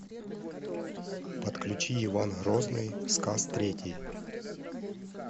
подключи иван грозный сказ третий